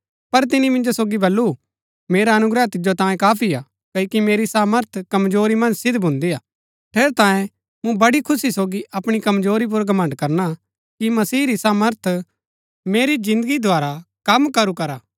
पर तिनी मिन्जो सोगी बल्लू मेरा अनुग्रह तिजो तांयें काफी हा क्ओकि मेरी सामर्थ कमजोरी मन्ज सिद्ध भून्दिआ ठेरैतांये मूँ बड़ी खुशी सोगी अपणी कमजोरी पुर घमण्ड़ करणा कि मसीह री सामर्थ मेरी जिन्दगी द्धारा कम करू करा